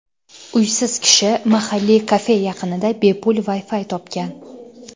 Uysiz kishi mahalliy kafe yaqinida bepul Wi-Fi topgan.